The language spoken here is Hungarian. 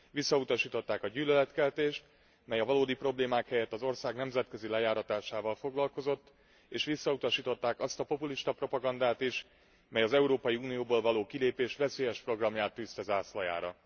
Visszautasították a gyűlöletkeltést, mely a valódi problémák helyett az ország nemzetközi lejáratásával foglalkozott, és visszautasították azt a populista propagandát is, mely az Európai Unióból való kilépés veszélyes programját tűzte zászlajára.